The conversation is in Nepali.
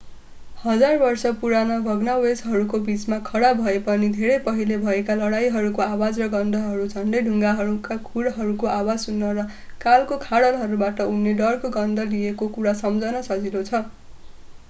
हजार वर्ष पुरानो भग्नावशेषहरूको बिचमा खडा भए पनि धेरै पहिले भएका लडाईहरूको आवाज र गन्धहरू झन्डै ढुङ्गाहरूमा खुरहरूको आवाज सुन्न र कालको खाडलबाट उठ्ने डरको गन्ध लिएको कुरा सम्झन सजिलो छ